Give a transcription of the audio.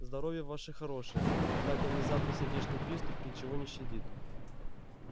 здоровье ваше хорошее однако внезапный сердечный приступ ничего не щадит